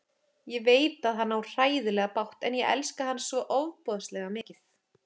Ég veit að hann á hræðilega bágt en ég elska hann svo ofboðslega mikið.